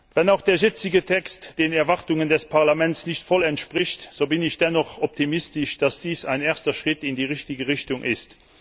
Wenn auch der jetzige Text den Erwartungen des Parlaments nicht voll entspricht, so bin ich dennoch optimistisch, dass dies ein erster Schritt in die richtige Richtung ist.